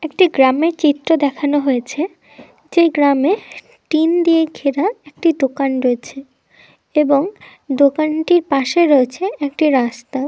একটি গ্রামের চিত্র দেখানো হয়েছে যেই গ্রামে টিন দিয়ে ঘেরা একটি দোকান রয়েছে এবং দোকানটির পাশে রয়েছে একটি রাস্তা।